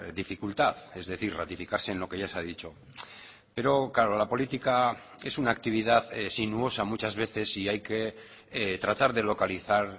dificultad es decir ratificarse en lo que ya se ha dicho pero claro la política es una actividad sinuosa muchas veces y hay que tratar de localizar